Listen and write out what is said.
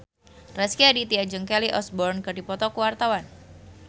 Rezky Aditya jeung Kelly Osbourne keur dipoto ku wartawan